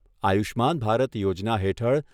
આયુષ્યમાન ભારત યોજના હેઠળ